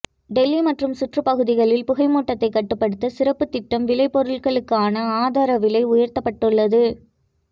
டெல்லி மற்றும் சுற்றுப் பகுதிகளில் புகை மூட்டத்தை கட்டுப்படுத்த சிறப்பு திட்டம் விளை பொருட்களுக்கான ஆதார விலை உயர்த்தப்பட்டுள்ளது